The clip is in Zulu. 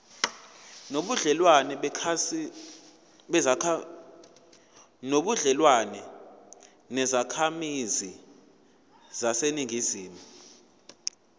nobudlelwane nezakhamizi zaseningizimu